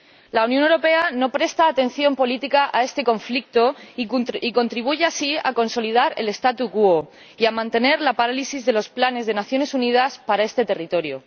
La Unión Europea no presta atención política a este conflicto y contribuye así a consolidar el y a mantener la parálisis de los planes de las Naciones Unidas para este territorio.